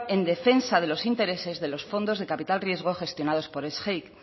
en defensa de los intereses de los fondos de capital riesgo gestionados por sgeic